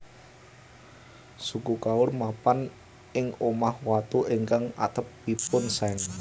Suku Kaur mapan ing omah watu ingkang atepipun seng